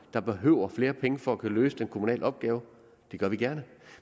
der behøves flere penge for at kunne løse den kommunale opgave det gør vi gerne